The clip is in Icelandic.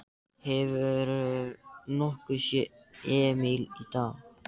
Hefurðu nokkuð séð Emil í dag?